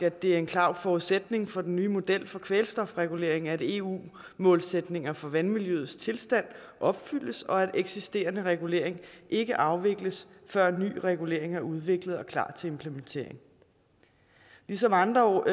at det er en klar forudsætning for den nye model for kvælstofregulering at eu målsætninger for vandmiljøets tilstand opfyldes og at eksisterende regulering ikke afvikles før ny regulering er udviklet og klar til implementering ligesom andre